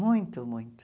Muito, muito.